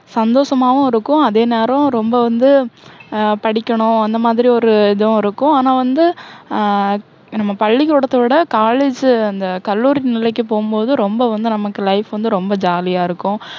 சந்தோஷமாவும் இருக்கும். அதே நேரம் ரொம்ப வந்து ஆஹ் படிக்கணும். அந்த மாதிரி ஒரு இதுவும் இருக்கும். ஆனால் வந்து ஆஹ் நம்ம பள்ளிக்கூடத்தை விட college அந்த கல்லூரி நிலைக்கு போகும்போது, ரொம்ப வந்து நமக்கு life வந்து ரொம்ப jolly யா இருக்கும்.